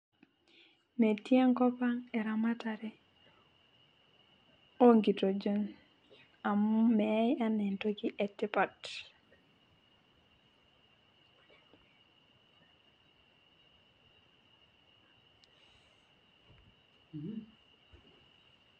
metii enkop eramatare oo nkitejon amu meyae anaa entoki etipat